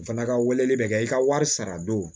O fana ka weleli bɛ kɛ i ka wari sara don